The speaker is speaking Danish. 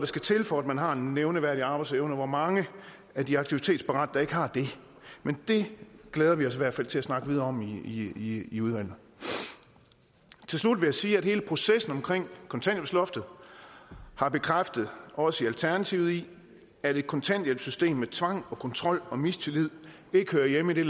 skal til for at man har en nævneværdig arbejdsevne og hvor mange af de aktivitetsparate der ikke har det men det glæder vi os i hvert fald til at snakke videre om i i udvalget til slut vil jeg sige at hele processen omkring kontanthjælpsloftet har bekræftet os i alternativet i at et kontanthjælpssystem med tvang og kontrol og mistillid ikke hører hjemme i det